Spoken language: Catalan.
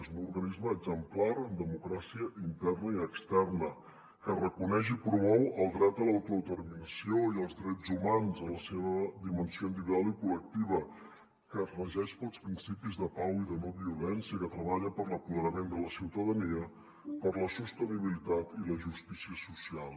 és un organisme exemplar en democràcia interna i externa que reconeix i promou el dret a l’autodeterminació i els drets humans en la seva dimensió individual i col·lectiva que es regeix pels principis de pau i de no violència que treballa per l’apoderament de la ciutadania per la sostenibilitat i la justícia social